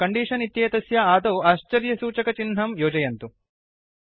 तथा कण्डीषन् इत्येतस्य आदौ आश्चर्यसुचकचिह्नं योजयन्तु